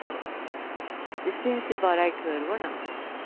De syns ju bara i kurvorna.